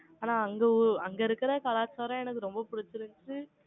ஆனா, அங்க உம் அங்க இருக்கிற கலாச்சாரம் எனக்கு ரொம்ப பிடிச்சிருந்துச்சு.